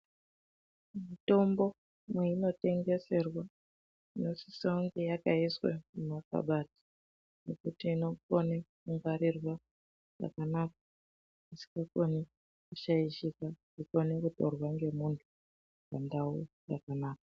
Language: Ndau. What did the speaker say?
Mitombo, mweinotengeserwa inosisa kunge yakaiswa mumakabati, mekuti inokone kungwarirwa zvakanaka isikakoni kushaishika, ifane kutorwa ngemuntu mundau yakanaka.